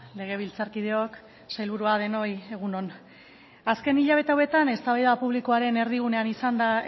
legebiltzarkideok sailburua denoi egun on azken hilabete hauetan eztabaida publikoaren erdigunean izan da